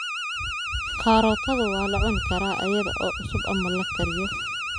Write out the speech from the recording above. Karootadu waa la cuni karaa iyada oo cusub ama la kariyo.